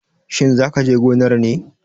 Shin za ka je gonar ne?